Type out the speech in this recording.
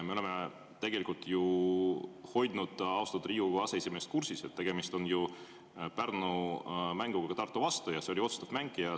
Me tegelikult oleme ju austatud Riigikogu aseesimeest kursis hoidnud, et tegemist on Pärnu mänguga Tartu vastu ja see oli otsustav mäng.